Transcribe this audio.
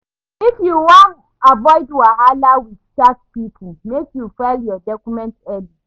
If you wan avoid wahala wit tax pipo, make you file your documents early.